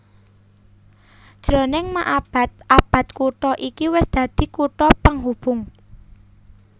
Jroning maabad abad kutha iki wis dadi kutha penghubung